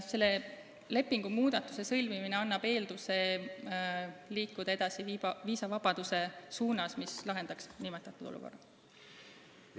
Selle muudatuse ratifitseerimine annab eelduse liikuda edasi viisavabaduse suunas, mis nimetatud olukorra lahendaks.